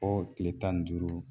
tile tan ni duuru